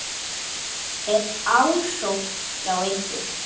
Er ásókn hjá ykkur?